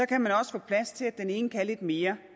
kan man også få plads til at den ene kan lidt mere